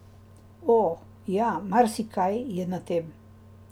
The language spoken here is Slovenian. O, ja, marsikaj je na tem!